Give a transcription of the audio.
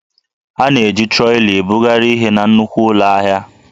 A na-eji troli ebugharị ihe na nnukwu ụlọ ahịa